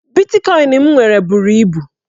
Bitkọin m nwere buru ibu.